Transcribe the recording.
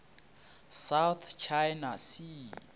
south china sea